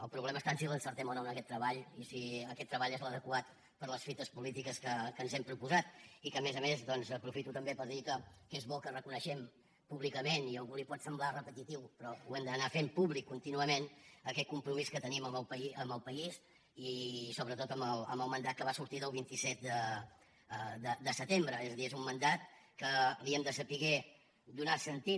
el problema està en si l’encertem o no en aquest treball i si aquest treball és l’adequat per a les fites polítiques que ens hem proposat i que a més a més doncs aprofito també per dir que és bo que reconeguem públicament i a algú li pot semblar repetitiu però ho hem d’anar fent públic contínuament aquest compromís que tenim amb el país i sobretot amb el mandat que va sortir del vint set de setembre és a dir és un mandat que li hem de saber donar sentit